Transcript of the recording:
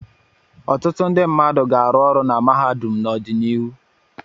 Ọtụtụ ndị mmadụ ga-arụ ọrụ na mahadum n'ọdịnihu.